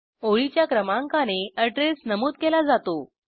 ओळीच्या क्रमांकाने अॅड्रेस नमूद केला जातो